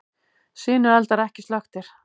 Sinueldar ekki slökktir